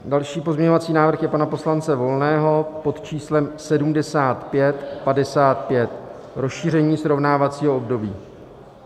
Další pozměňovací návrh je pana poslance Volného pod číslem 7555, rozšíření srovnávacího období.